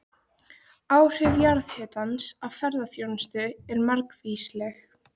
Áhrif jarðhitans á ferðaþjónustu eru margvísleg.